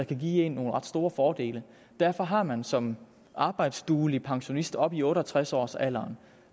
kan give en nogle ret store fordele derfor har man som arbejdsduelig pensionist oppe i otte og tres års alderen